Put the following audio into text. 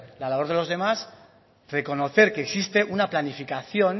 la labor de los demás reconocer que existe una planificación